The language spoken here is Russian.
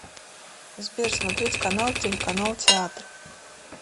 сбер смотреть канал телеканал театр